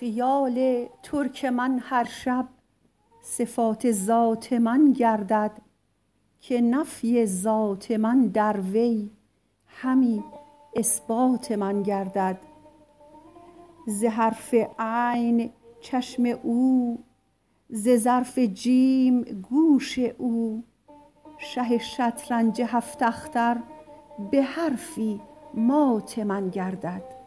خیال ترک من هر شب صفات ذات من گردد که نفی ذات من در وی همی اثبات من گردد ز حرف عین چشم او ز ظرف جیم گوش او شه شطرنج هفت اختر به حرفی مات من گردد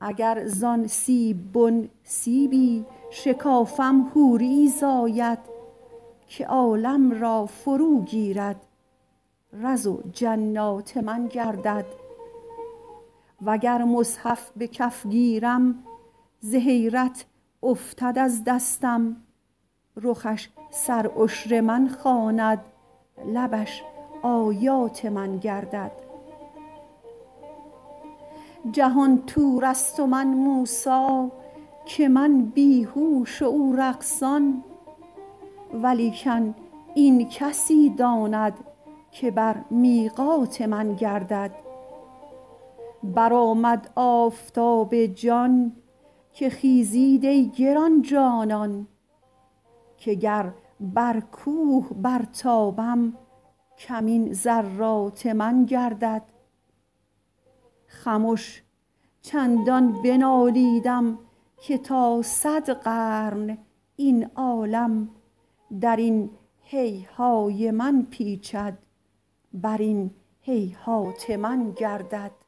اگر زان سیب بن سیبی شکافم حوریی زاید که عالم را فروگیرد رز و جنات من گردد وگر مصحف به کف گیرم ز حیرت افتد از دستم رخش سرعشر من خواند لبش آیات من گردد جهان طورست و من موسی که من بی هوش و او رقصان ولیکن این کسی داند که بر میقات من گردد برآمد آفتاب جان که خیزید ای گران جانان که گر بر کوه برتابم کمین ذرات من گردد خمش چندان بنالیدم که تا صد قرن این عالم در این هیهای من پیچد بر این هیهات من گردد